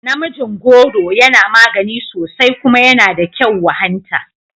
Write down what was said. Namijin goro yana magani sosai kuma yana da kyau wa hanta